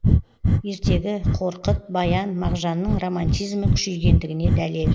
ертегі қорқыт баян мағжанның романтизмі күшейгендігіне дәлел